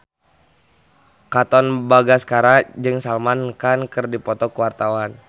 Katon Bagaskara jeung Salman Khan keur dipoto ku wartawan